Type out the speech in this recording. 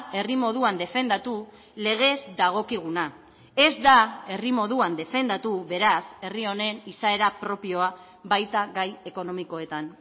herri moduan defendatu legez dagokiguna ez da herri moduan defendatu beraz herri honen izaera propioa baita gai ekonomikoetan